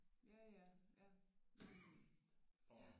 Ja ja ja nå men